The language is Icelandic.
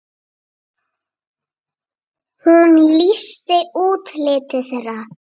Hún lýsti útliti þeirra.